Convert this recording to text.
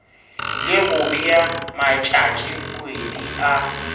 le go bea matšatšikgwedi a